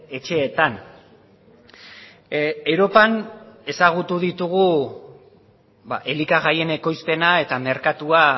etxeetan europan ezagutu ditugu elikagaien ekoizpena eta merkatua